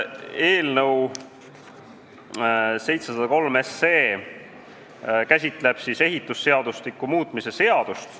Eelnõu 703 käsitleb ehitusseadustiku muutmist.